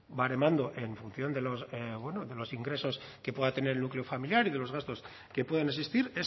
baremando en función de los bueno de los ingresos que pueda tener el núcleo familiar y de los gastos que puedan existir